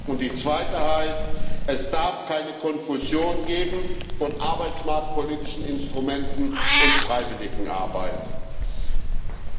Und die zweite heißt Es darf keine Konfusion von arbeitsmarktpolitischen Instrumenten und Freiwilligenarbeit geben.